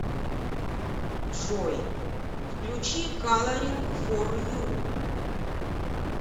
джой включи каларинг фор ю